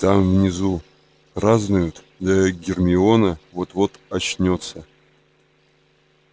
там внизу празднуют да и гермиона вот-вот очнётся